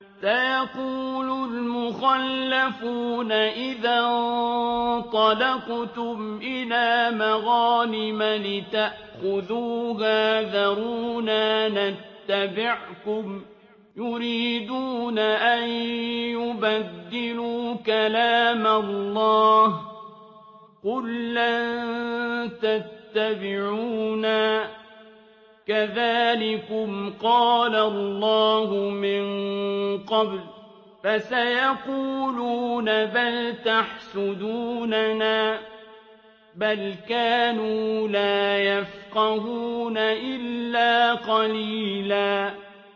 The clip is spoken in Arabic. سَيَقُولُ الْمُخَلَّفُونَ إِذَا انطَلَقْتُمْ إِلَىٰ مَغَانِمَ لِتَأْخُذُوهَا ذَرُونَا نَتَّبِعْكُمْ ۖ يُرِيدُونَ أَن يُبَدِّلُوا كَلَامَ اللَّهِ ۚ قُل لَّن تَتَّبِعُونَا كَذَٰلِكُمْ قَالَ اللَّهُ مِن قَبْلُ ۖ فَسَيَقُولُونَ بَلْ تَحْسُدُونَنَا ۚ بَلْ كَانُوا لَا يَفْقَهُونَ إِلَّا قَلِيلًا